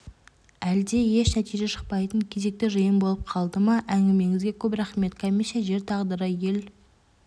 әлде еш нәтиже шықпайтын кезекті жиын болып қалды ма әңгімеңізге көп рахмет комиссия жер тағдыры ел